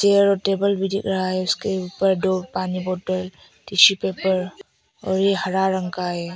Chair और table भी दिख रहा है उसके ऊपर दो पानी बोतल टिशू पेपर और ये हरा रंग का है।